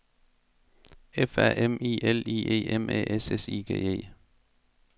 F A M I L I E M Æ S S I G E